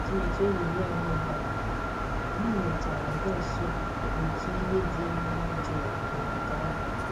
Atụmatụ ehihie anyị gbanwere, anyị mèchàrà bịa nso n'otu iyi dị um jụụ n'ogige ahụ